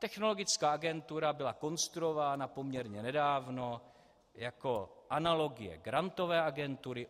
Technologická agentura byla konstruována poměrně nedávno jako analogie Grantové agentury.